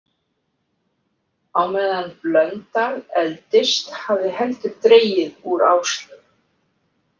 Á meðan Blöndal efldist hafði heldur dregið úr Áslaugu.